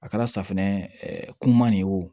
A kɛra safunɛ kuman de ye o